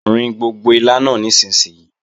Rin gbogbo ilá náà nísinsìnyí!